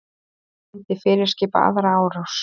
Myndi fyrirskipa aðra árás